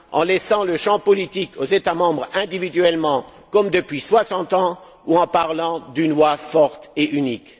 En laissant le champ politique aux États membres individuellement, comme depuis soixante ans, ou en parlant d'une voix forte et unique?